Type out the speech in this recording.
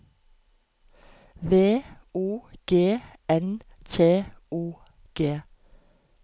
V O G N T O G